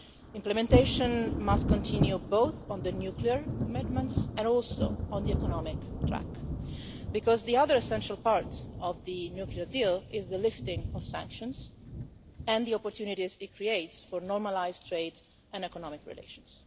Implementation must continue, both on the nuclear commitments and also on the economic track, because the other essential part of the nuclear deal is the lifting of sanctions and the opportunities it creates for normalised trade and economic relations.